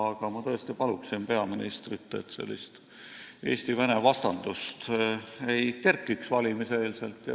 Aga ma tõesti palun peaministrit, et sellist Eesti ja Vene vastandust valimiste eel üles ei kerkiks.